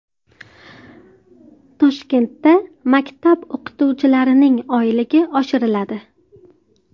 Toshkentda maktab o‘qituvchilarining oyligi oshiriladi.